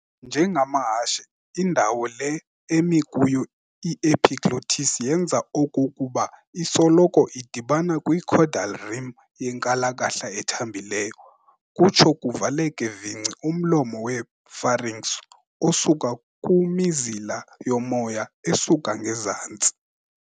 njengamahashe, indawo le emi kuyo i-epiglottis yenza okokuba isoloko idibana kwi-caudal rim yenkalakahla ethambileyo, kutsho kuvaleke vingci umlomo we-pharynx osuka kumizila yomoya esuka ngezantsi.